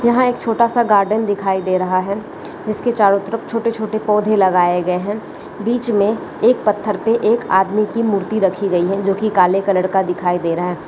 यहां एक छोटा सा गार्डन दिखाई दे रहा है जिसके चारों तरफ छोटे-छोटे पौधे लगाए गए हैं बीच में एक पत्थर पर एक आदमी की मूर्ति रखी गई है जो कि काले कलर का दिखाई दे रहा है ।